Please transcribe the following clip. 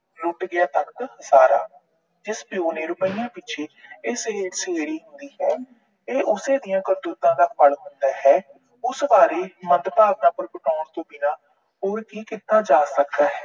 ਲੁੱਟ ਗਿਆ ਤਖ਼ਤ ਹਜ਼ਾਰਾ। ਜਿਸ ਪਿਉ ਨੇ ਰੁਪਇਆ ਪਿੱਛੇ ਇਹ ਉਸੇ ਦੀਆਂ ਕਰਤੂਤਾਂ ਦਾ ਫਲ ਹੁੰਦਾ ਹੈ। ਉਸ ਬਾਰੇ ਮੰਦਭਾਵਨਾ ਪ੍ਰਗਟਾਉਣ ਤੋਂ ਬਿਨਾਂ ਹੋਰ ਕੀ ਕੀਤਾ ਜਾ ਸਕਦਾ ਹੈ।